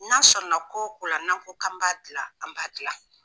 N'an sɔnna ko o ko la n'an ko k'an b'a dilan an b'a dilan.